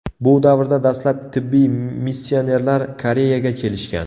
Bu davrda dastlab tibbiy missionerlar Koreyaga kelishgan.